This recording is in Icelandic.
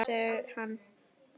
Já mamma, segir hann.